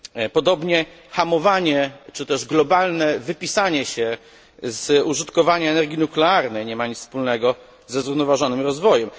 Podobnie hamowanie czy też globalne wypisanie się z użytkowania energii nuklearnej nie ma nic wspólnego ze zrównoważonym rozwojem.